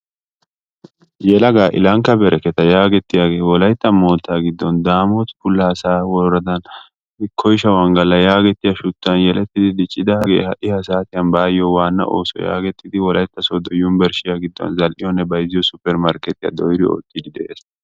Yelaga Ilankka Bereket yaagetiyage wolaytta mootta giddon Daamot Pullaasa woradan Koysha Ongala yaagetiya shuchchan yeletti diccidagee ha"i ha saatiyan baayo waanna ooso yaagetti wolaytta sodo yunbburshshiyaa giddon zal"iyone shammiyo suppeer markketiyaa dooyidi ottidi de'ees.